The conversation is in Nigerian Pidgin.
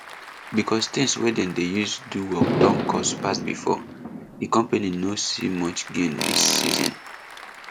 because things wey dem dey use do work don cost pass before di company no see much gain dis season